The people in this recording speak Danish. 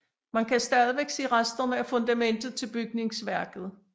Man kan stadig se resterne af fundamentet til bygningsværket